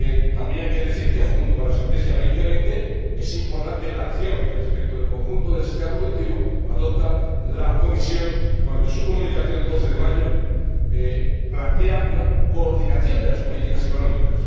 También hay que decir que, junto a la Estrategia Europa 2020, es importante la acción que respecto del conjunto del sistema productivo adopta la Comisión al plantear, en su comunicación del 12 de mayo, una coordinación de las políticas económicas.